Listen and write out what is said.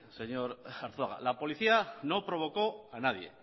señor arzuaga la policía no provocó a nadie